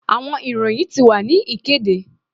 Awọn iroyin ti wa ni ikede